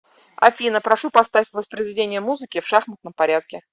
афина прошу поставь воспроизведение музыки в шахматном порядке